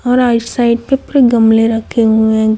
और right side पे पूरे गमले रखे हुएं--